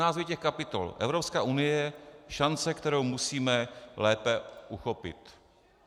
Názvy těch kapitol: Evropská unie - šance, kterou musíme lépe uchopit.